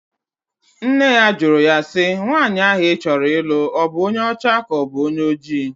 Nne ya jụrụ ya si, nwaanyị ahụ ị chọrọ ịlụ ọ bụ onye ọcha ka ọ bụ onye oji?